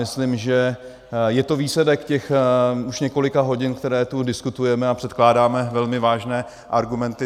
Myslím, že je to výsledek těch už několika hodin, které tu diskutujeme, a předkládáme velmi vážné argumenty.